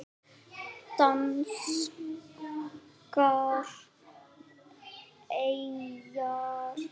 Danskar eyjar